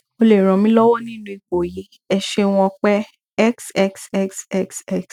o lè ràn mí lọwọ nínú ipò yìí ẹ ṣeun ọpẹ xxxxx